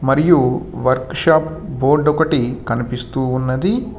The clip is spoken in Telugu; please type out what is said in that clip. మరియు వర్క్ షాప్ బోర్డు ఒకటి కనిపిస్తూ ఉన్నది.